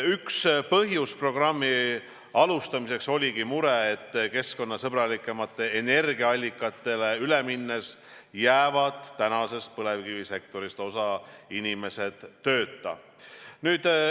Üks põhjusi programmi alustamiseks oligi mure, et keskkonnasõbralikumatele energiaallikatele üle minnes jääb tänasest põlevkivisektorist osa inimesi tööta.